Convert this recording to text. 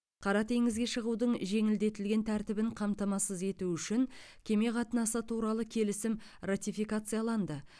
қара теңізге шығудың жеңілдетілген тәртібін қамтамасыз ету үшін кеме қатынасы туралы келісім ратификацияланды